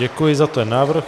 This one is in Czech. Děkuji za ten návrh.